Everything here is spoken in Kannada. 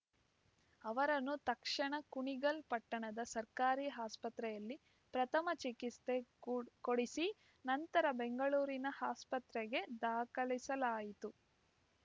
ಅವರನ್ನು ತಕ್ಷಣ ಕುಣಿಗಲ್‌ ಪಟ್ಟಣದ ಸರ್ಕಾರಿ ಆಸ್ಪತ್ರೆಯಲ್ಲಿ ಪ್ರಥಮ ಚಿಕಿತ್ಸೆ ಕೊಡಿಸಿ ನಂತರ ಬೆಂಗಳೂರಿನ ಆಸ್ಪತ್ರೆಗೆ ದಾಖಲಿಸಲಾಯಿತು